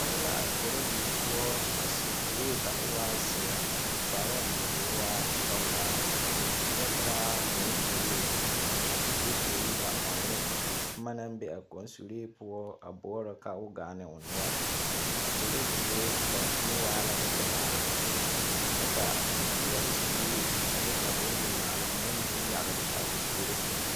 Pͻge la are korodie poͻ a seԑ kuree ka o waa zeԑ a su kparoŋ koo waa sͻgelaa kyԑ taa kõͻ suree. A de kyakoli a ͻŋ ne boma naŋ be a kͻnsuree poͻ a boͻrͻ ka gaa ne o noͻre. A korodie daŋkyime waa la pelaa kyԑ ka zeԑre surre ane a bonimaale boma mine yagele o zusogͻ sԑŋ na.